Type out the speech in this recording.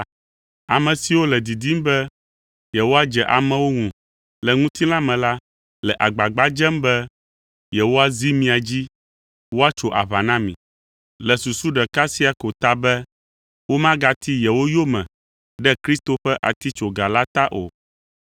Ame siwo le didim be yewoadze amewo ŋu le ŋutilã me la le agbagba dzem be yewoazi mia dzi woatso aʋa na mi, le susu ɖeka sia ko ta be womagati yewo yome ɖe Kristo ƒe atitsoga la ta o.